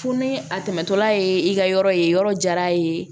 Fo ni a tɛmɛtɔla ye i ka yɔrɔ ye yɔrɔ jara a ye